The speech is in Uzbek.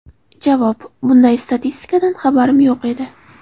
Javob: Bunday statistikadan xabarim yo‘q edi.